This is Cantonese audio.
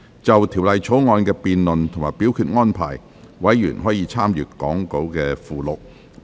就《條例草案》的辯論及表決安排，委員可參閱講稿附錄。